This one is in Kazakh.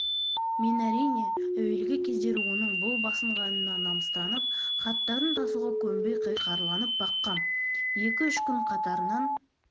мен әрине әуелгі кездері оның бұл басынғанына намыстанып хаттарын тасуға көнбей қиқарланып баққам екі-үш күн қатарынан